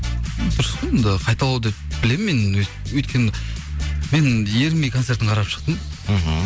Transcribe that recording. дұрыс қой енді қайталау деп білемін мен өйткені мен ерінбей концертін қарап шықтым мхм